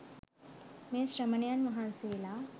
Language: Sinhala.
මේ ශ්‍රමණයන් වහන්සේලා